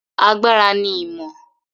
Knowledge is power.